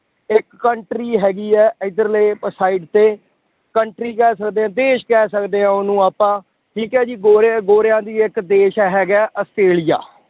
ਇੱਕ country ਹੈਗੀ ਹੈ ਇੱਧਰਲੇ side ਤੇ country ਕਹਿ ਸਕਦੇ ਹਾਂ ਦੇਸ ਕਹਿ ਸਕਦੇ ਹਾਂ ਉਹਨੂੰ ਆਪਾਂ ਠੀਕ ਹੈ ਜੀ ਗੋਰਿਆਂ ਗੋਰਿਆਂ ਦੀ ਇੱਕ ਦੇਸ ਹੈਗਾ ਹੈ ਆਸਟ੍ਰੇਲੀਆ